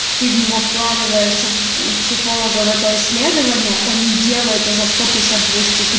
ты в него вкладываешь в у психолога в это исследование он не делай это за сто пятьдесят